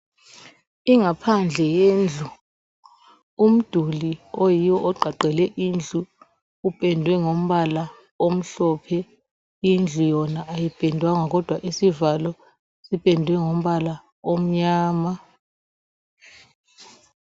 Ingaphandle yendlu. Umduli oyiwo ogqagqele indlu upendwe ngombala omhlophe. Indlu yona ayipendwanga kodwa isivalo sipendwe ngombala omnyama.